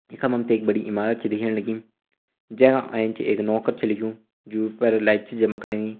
यखम हम ते एक बड़ी इमारत छा दिखेण लगीं जै का एंच एक नौ कर छ लिख्युं जू पर लाइट छ चमकणी।